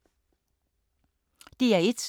DR1